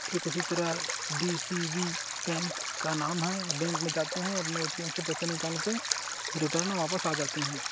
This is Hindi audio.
ठीक उसी तरह डी_सी_बी बैंक का नाम है बैंक मे जाते हैअपने ए_टी_एम से पैसा निकाल के रिटर्न वापस आ जाते है।